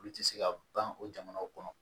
Olu tɛ se ka ban o jamanaw kɔnɔ